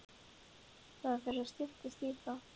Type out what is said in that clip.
Það fer að styttast í það.